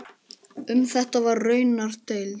Um þetta var raunar deilt.